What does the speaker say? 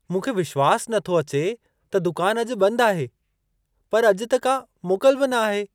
मूंखे विश्वास नथो अचे त दुकान अॼु बंदि आहे! पर अॼु त का मोकल बि न आहे।